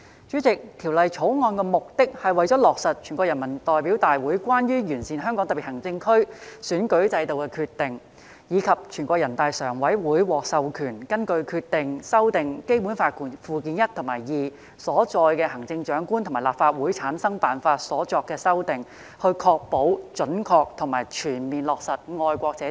主席，《條例草案》的目的是落實《全國人民代表大會關於完善香港特別行政區選舉制度的決定》，以及全國人民代表大會常務委員會獲授權根據《決定》就《基本法》附件一和附件二所載行政長官和立法會產生辦法所作的修訂，以確保準確及全面落實"愛國者治港"。